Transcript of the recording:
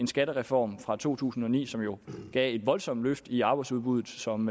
skattereformen fra to tusind og ni som jo gav et voldsomt løft i arbejdsudbuddet som